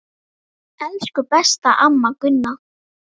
Elsku besta amma Gunna.